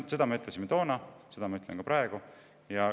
Seda me ütlesime toona ja seda ma ütlen ka praegu.